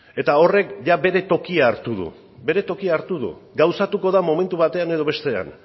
eta horrek bere tokia hartu du bere tokia hartu du gauzatuko da momentu batean edo bestean